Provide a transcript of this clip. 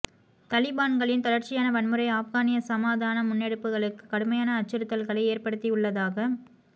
தலிபான்களின் தொடர்ச்சியான வன்முறை ஆப்கானிய சமாதான முன்னெடுப்புகளுக்கு கடுமையான அச்சுறுத்தல்களை ஏற்படுத்தியுள்ளதாக